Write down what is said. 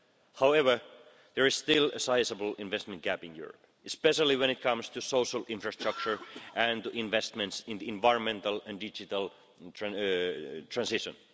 However, there is still a sizeable investment gap in Europe, especially when it comes to social infrastructure and investments in the environmental and digital transition.